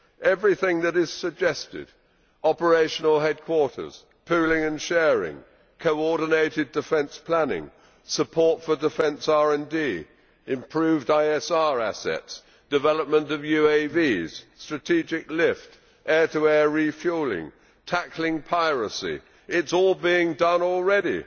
Everything which is suggested operational headquarters, pooling and sharing, coordinated defence planning, support for defence RD, improved ISR assets, development of UAVs, strategic lift, air to air refuelling, tackling piracy is all being done already,